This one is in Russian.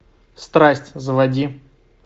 страсть заводи